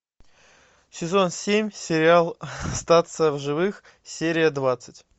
сезон семь сериал остаться в живых серия двадцать